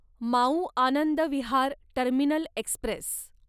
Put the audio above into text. Mau Anand Vihar terminal Express